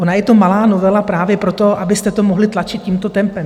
Ona je to malá novela právě proto, abyste to mohli tlačit tímto tempem.